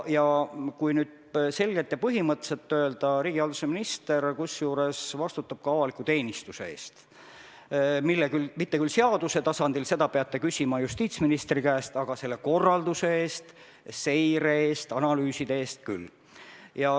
Kui nüüd selgelt ja põhimõtteliselt öelda, siis vastutab riigihalduse minister ka avaliku teenistuse eest, mitte küll seaduse tasandil – seda peate küsima justiitsministri käest –, aga selle korralduse, seire ja analüüside eest.